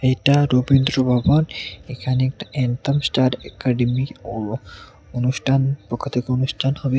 এটা রবীন্দ্র ভবন এখানে একটা অ্যানথেম স্টার একাডেমি ও অনুষ্ঠান পক্ষ থেকে অনুষ্ঠান হবে।